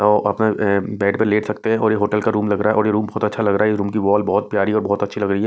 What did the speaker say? तो अपने अ बेड पर लेट सकते हैं और ये होटल का रूम लग रहा है और ये रूम बहुत अच्छा लग रहा है ये रूम की वॉल बहुत प्यारी और बहुत अच्छी लग रही है।